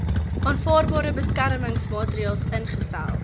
aanvaarbare beskermingsmaatreels ingestel